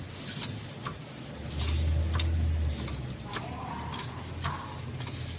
maemo ana a mabe a